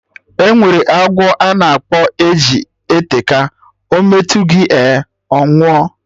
Enwere agwọ a na-akpọ e ji eteka, ọ metụ gị ehn, ọnwụ ooo